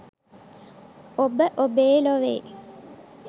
ඔබ ඔබේ ලොවේ